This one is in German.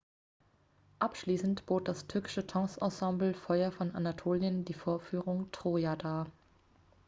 "abschließend bot das türkische tanzensemble feuer von anatolien die vorführung "troja" dar.